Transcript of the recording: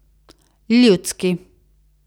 Ljudski.